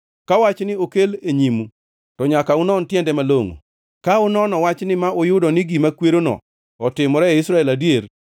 Ka wachni okel e nyimu, to nyaka unon tiende malongʼo. Ka unono wachni ma uyudo ni gima kwerono otimore e Israel adier,